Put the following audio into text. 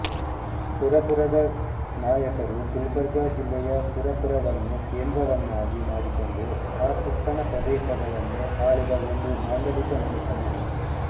ಸುರಪುರದ ನಾಯಕರುಗುಲ್ಬರ್ಗ ಜಿಲ್ಲೆಯ ಸುರಪುರವನ್ನು ಕೇಂದ್ರವನ್ನಾಗಿ ಮಾಡಿಕೊಂಡು ಆ ಸುತ್ತಣ ಪ್ರದೇಶಗಳನ್ನು ಆಳಿದ ಒಂದು ಮಾಂಡಲಿಕ ಮನೆತನ